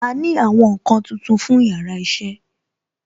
A ní àwọn nkan tuntun fún yàrá iṣẹ́